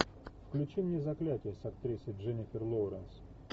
включи мне заклятие с актрисой дженнифер лоуренс